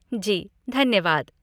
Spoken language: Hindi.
जी, धन्यवाद।